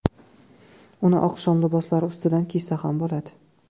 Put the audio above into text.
Uni oqshom liboslari ustidan kiysa ham bo‘ladi.